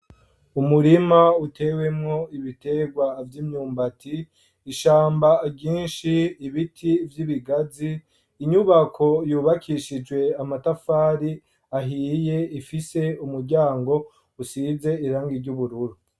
Umurima utewemwo ibiterwa vy'umwumbati, ishamba ryinshi, ibiti vy'ibigazi, inyubako y'ubakishijwe amatafari ahiye, ifise umuryango usize irangi ry'ubururu.